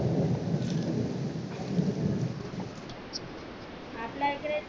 आपल्या इकडे ते